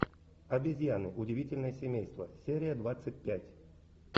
обезьяны удивительное семейство серия двадцать пять